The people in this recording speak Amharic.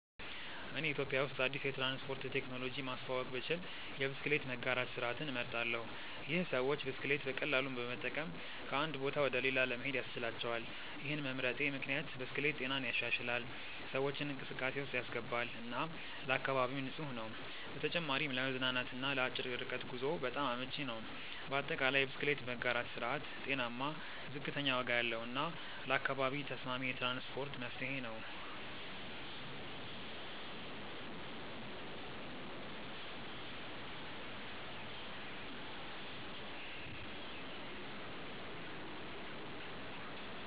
እኔ ኢትዮጵያ ውስጥ አዲስ የትራንስፖርት ቴክኖሎጂ ማስተዋወቅ ብችል የብስክሌት መጋራት ስርዓትን እመርጣለሁ። ይህ ሰዎች ብስክሌት በቀላሉ በመጠቀም ከአንድ ቦታ ወደ ሌላ ለመሄድ ያስችላቸዋል። ይህን መምረጤ ምክንያት ብስክሌት ጤናን ይሻሻላል፣ ሰዎችን እንቅስቃሴ ውስጥ ያስገባል እና ለአካባቢም ንፁህ ነው። በተጨማሪም ለመዝናናት እና ለአጭር ርቀት ጉዞ በጣም አመቺ ነው። በአጠቃላይ፣ የብስክሌት መጋራት ስርዓት ጤናማ፣ ዝቅተኛ ዋጋ ያለው እና ለአካባቢ ተስማሚ የትራንስፖርት መፍትሄ ነው።